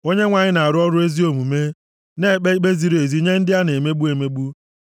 Onyenwe anyị na-arụ ọrụ ezi omume, na-ekpe ikpe ziri ezi nye ndị a na-emegbu emegbu.